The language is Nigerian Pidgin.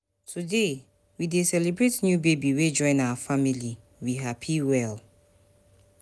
Today, we dey celebrate new baby wey join our family, we happy well.